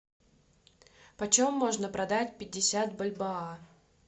почем можно продать пятьдесят бальбоа